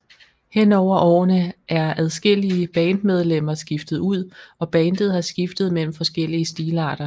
Hen over årene er adskillige bandmedlemmer skiftet ud og bandet har skiftet mellem forskellige stilarter